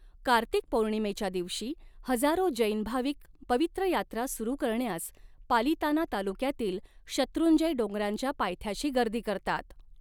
कार्तिक पौर्णिमेच्या दिवशी हजारो जैन भाविक पवित्र यात्रा सुरु करण्यास पालिताना तालुक्यातील शत्रुंजय डोंगरांच्या पायथ्यांशी गर्दी करतात.